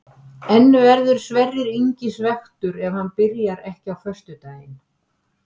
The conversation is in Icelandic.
En verður Sverrir Ingi svekktur ef hann byrjar ekki á föstudaginn?